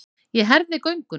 Ég herði gönguna.